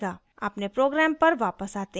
अपने program पर वापस आते हैं